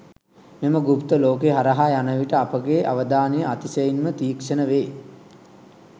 මෙම ගුප්ත ලෝකය හරහා යන විට අපගේ අවධානය අතිශයින්ම තීක්ෂණ වේ.